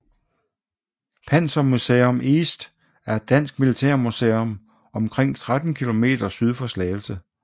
Panzermuseum East er et dansk militærmuseum omkring 13 km syd for Slagelse